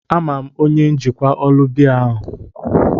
Ama m onye njikwa ụlọ biya a.